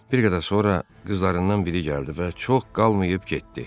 Bir qədər sonra qızlarından biri gəldi və çox qalmayıb getdi.